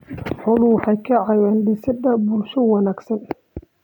Xooluhu waxay ka caawiyaan dhisidda bulsho wanaagsan.